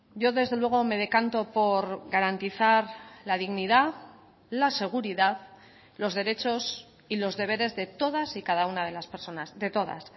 yo desde luego me decanto por garantizar la dignidad la seguridad los derechos y los deberes de todas y cada una de las personas de todas